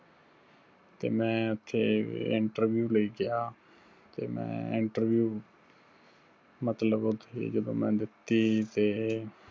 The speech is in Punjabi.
ਤੇ ਮੈਂ ਉੱਥੇ interview ਲਈ ਗਿਆ, ਤੇ ਮੈਂ interview ਮਤਲਬ ਉੱਥੇ ਜਦੋਂ ਮੈਂ ਦਿੱਤੀ ਤੇ